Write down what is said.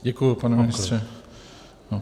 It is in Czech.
Děkuji, pane ministře.